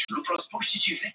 Leikskálum